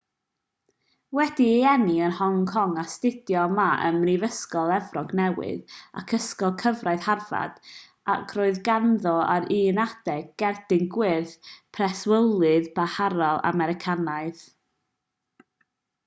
wedi'i eni yn hong kong astudiodd ma ym mhrifysgol efrog newydd ac ysgol gyfraith harvard ac roedd ganddo ar un adeg gerdyn gwyrdd preswylydd parhaol americanaidd